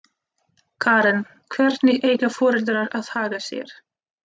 Karen: Hvernig eiga foreldrar að haga sér?